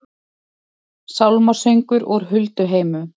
Sálmasöngur úr hulduheimum